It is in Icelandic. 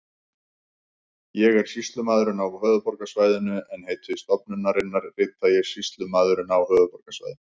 Ég er sýslumaðurinn á höfuðborgarsvæðinu en heiti stofnunarinnar rita ég Sýslumaðurinn á höfuðborgarsvæðinu.